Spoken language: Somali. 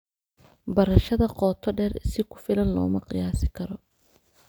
Barashada qoto dheer si ku filan looma qiyaasi karo.